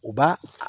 U ba